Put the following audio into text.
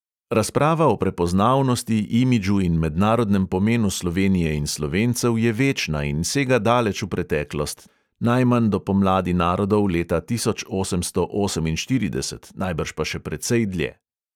Razprava o prepoznavnosti, imidžu in mednarodnem pomenu slovenije in slovencev je večna in sega daleč v preteklost, najmanj do pomladi narodov leta tisoč osemsto oseminštirideset, najbrž pa še precej dlje.